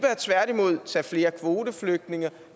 tværtimod bør tage flere kvoteflygtninge